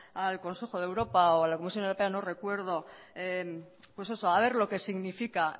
al consejo de europa o a la comisión europea no recuerdo pues eso a ver lo que significa